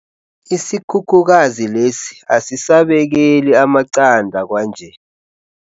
Isikhukhukazi lesi asisabekeli amaqanda kwanje.